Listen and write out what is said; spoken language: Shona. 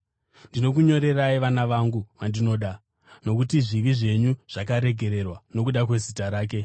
Ndinokunyorerai, vana vangu vandinoda, nokuti zvivi zvenyu zvakaregererwa nokuda kwezita rake.